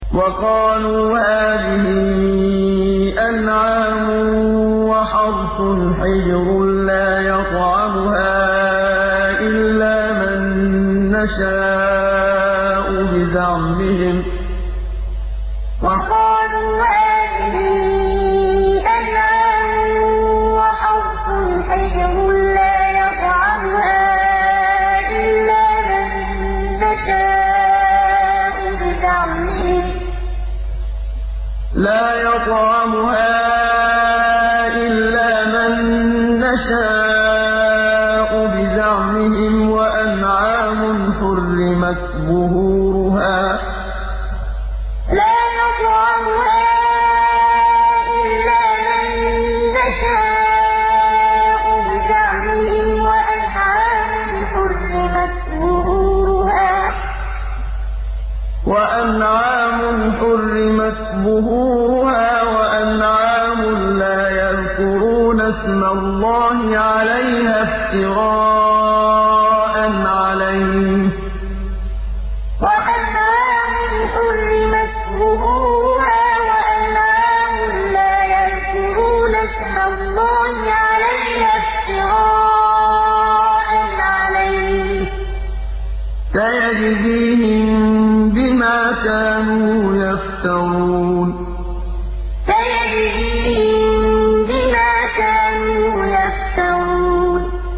وَقَالُوا هَٰذِهِ أَنْعَامٌ وَحَرْثٌ حِجْرٌ لَّا يَطْعَمُهَا إِلَّا مَن نَّشَاءُ بِزَعْمِهِمْ وَأَنْعَامٌ حُرِّمَتْ ظُهُورُهَا وَأَنْعَامٌ لَّا يَذْكُرُونَ اسْمَ اللَّهِ عَلَيْهَا افْتِرَاءً عَلَيْهِ ۚ سَيَجْزِيهِم بِمَا كَانُوا يَفْتَرُونَ وَقَالُوا هَٰذِهِ أَنْعَامٌ وَحَرْثٌ حِجْرٌ لَّا يَطْعَمُهَا إِلَّا مَن نَّشَاءُ بِزَعْمِهِمْ وَأَنْعَامٌ حُرِّمَتْ ظُهُورُهَا وَأَنْعَامٌ لَّا يَذْكُرُونَ اسْمَ اللَّهِ عَلَيْهَا افْتِرَاءً عَلَيْهِ ۚ سَيَجْزِيهِم بِمَا كَانُوا يَفْتَرُونَ